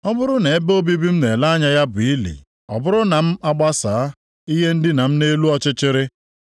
Ọ bụrụ na ebe obibi m na-ele anya ya bụ ili, ọ bụrụ na m agbasaa + 17:13 Maọbụ, atụsaa ihe ndina m nʼelu ọchịchịrị,